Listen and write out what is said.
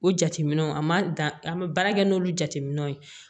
O jateminɛw an ma dan an bɛ baara kɛ n'olu jateminɛw ye